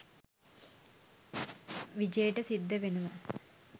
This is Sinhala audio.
විජේට සිද්ධ වෙනවා